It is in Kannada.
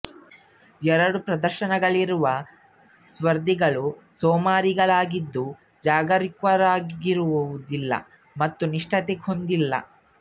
ಎರಡೂ ಪ್ರದರ್ಶನಗಳಲ್ಲಿರುವ ಸ್ಪರ್ಧಿಗಳು ಸೋಮಾರಿಗಳಾಗಿದ್ದು ಜಾಗರೂಕರಾಗಿರುವುದಿಲ್ಲ ಮತ್ತು ನಿಷ್ಠತೆ ಹೊಂದಿಲ್ಲ